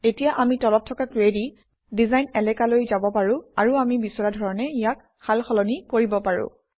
এতিয়া আমি তলত থকা কুৱেৰি ডিজাইন এলেকালৈ যাব পাৰোঁ আৰু আমি বিচৰা ধৰণে ইয়াক সাল সলনি কৰিব পাৰোঁ